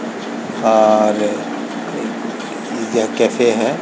और pizza cafe है।